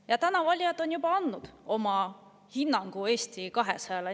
Ja nüüd on valijad juba andnud oma hinnangu Eesti 200-le.